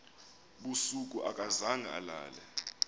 busuku akazange alale